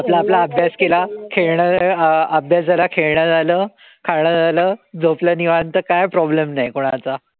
आपला-आपला अभ्यास खेळणं अ अभ्यास झाला, खेळणं झालं, खाणं झालं, झोपलो निवांत काई problem नाई कोणाचा.